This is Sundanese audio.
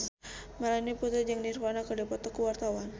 Melanie Putri jeung Nirvana keur dipoto ku wartawan